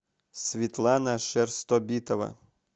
светлана шерстобитова